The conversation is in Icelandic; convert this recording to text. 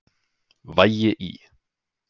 Vægi í